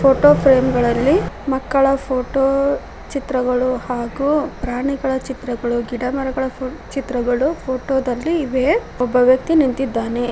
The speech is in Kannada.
ಫೋಟೋ ಫ್ರೇಮ್ ಗಳಲ್ಲಿ ಮಕ್ಕಳ ಫೋಟೋ ಚಿತ್ರಗಳು ಹಾಗೂ ಪ್ರಾಣಿಗಳ ಚಿತ್ರಗಳು ಗಿಡಮರಗಳ ಚಿತ್ರಗಳು ಫೋಟೋ ದಲ್ಲಿ ಇವೆ ಒಬ್ಬ ವ್ಯಕ್ತಿ ನಿಂತಿದ್ದಾನೆ.